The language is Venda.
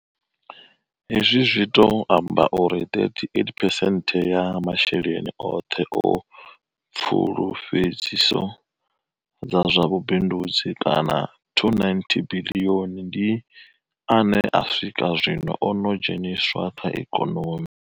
Hezwi zwi tou amba uri 38 phesenthe ya masheleni oṱhe a pfulufhedziso dza zwa vhubindudzi kana R290 biḽioni ndi ane u swika zwino o no dzheniswa kha ikonomi.